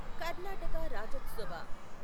Karnataka Rajyotsava